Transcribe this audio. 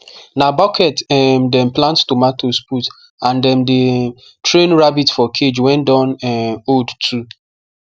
na bucket um dem plant tomatoes put and dem dey um train rabbit for cage wen don um old too